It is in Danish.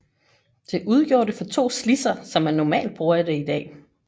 Det udgjorde det for to slidser som man normalt bruger det i dag